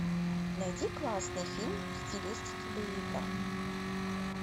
найди классный фильм в стилистике боевика